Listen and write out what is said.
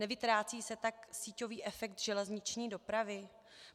Nevytrácí se tak síťový efekt železniční dopravy?